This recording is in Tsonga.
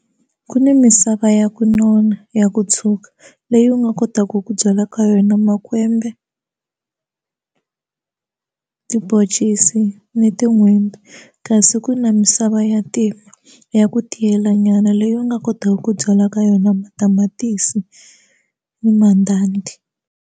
Ku ni misava ya ku nona ya ku tshwuka leyi u nga kotaka ku byala ka yona makwembe tibhoncisi ni tin'hwembe kasi ku na misava ya ntima ya ku tiyela nyana leyi u nga kotaka ku byala ka yona matamatisi ni mandanda.